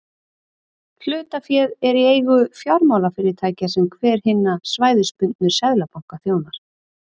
hlutaféð er í eigu fjármálafyrirtækja sem hver hinna svæðisbundnu seðlabanka þjónar